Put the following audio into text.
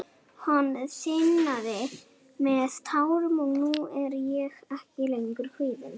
Hann þiðnaði með tárum og nú er ég ekki lengur kvíðinn.